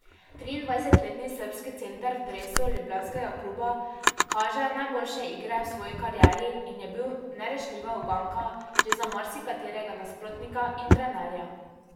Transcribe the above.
Triindvajsetletni srbski center v dresu ljubljanskega kluba kaže najboljše igre v svoji karieri in je bil nerešljiva uganka že za marsikaterega nasprotnika in trenerja.